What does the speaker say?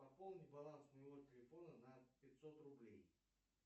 пополни баланс моего телефона на пятьсот рублей